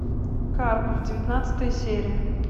карпов девятнадцатая серия